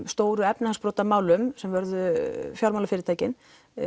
stóru efnahagsbrotamálum sem vörðuðu fjármálafyrirtækin